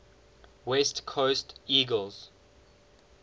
west coast eagles